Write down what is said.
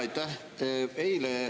Aitäh!